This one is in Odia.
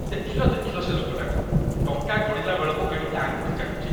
ଦେଖିଲ ଦେଖିଲ, ସେ ଲୋକଟାକୁ! ଟଙ୍କା ଗଣିଲା ବେଳକୁ କେମିତି ଆଙ୍ଗୁଠି ଚାଟୁଚି!